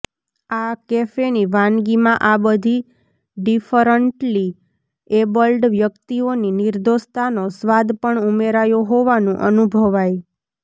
આ કૅફેની વાનગીમાં આ બધી ડિફરન્ટ્લી એબલ્ડ વ્યક્તિઓની નિર્દોષતાનો સ્વાદ પણ ઉમેરાયો હોવાનું અનુભવાય